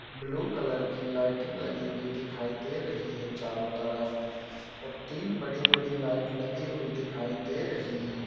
Blue colour की lighting लगी हुई दिखाई दे रही है चारों तरफ और तिन बड़ी-बड़ी लाईट लगी हुई दिखाई दे रही हैं।